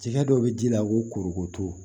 Jɛgɛ dɔ bɛ ji la korokoto